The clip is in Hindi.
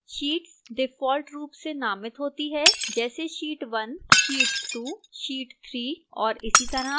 sheets default रूप से नामित होती हैं जैसे sheet 1 sheet 2 sheet 3 और इसीतरह